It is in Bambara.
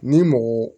Ni mɔgɔ